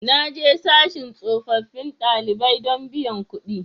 Na je sashin tsofaffin ɗalibai don biyan kuɗi